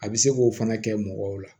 A bɛ se k'o fana kɛ mɔgɔw la